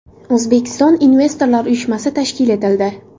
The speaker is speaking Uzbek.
O‘zbekiston investorlar uyushmasi tashkil etildi.